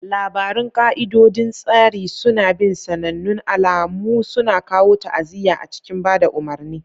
Labarun ƙa'idodin tsari suna bin sanannun alamu, suna kawo ta'aziyya a cikin ba da umarni.